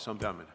See on peamine.